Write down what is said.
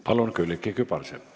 Palun, Külliki Kübarsepp!